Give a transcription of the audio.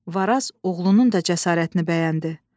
Varaz oğlunun da cəsarətini bəyəndi.